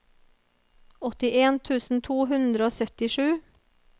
åttien tusen to hundre og syttisju